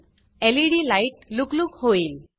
laid lightएलइडी light लुकलुक होईल